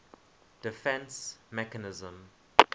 defence mechanism